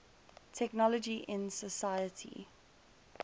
technology in society